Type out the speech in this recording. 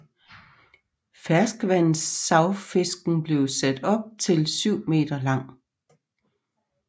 Ferskvandssavfisken kan blive op til 7 meter lang